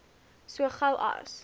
so gou as